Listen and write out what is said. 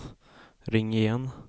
ring igen